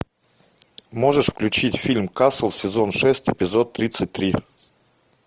можешь включить фильм касл сезон шесть эпизод тридцать три